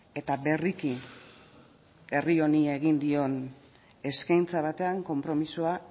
eta berriki herri honi egin dion eskaintza batean konpromisoa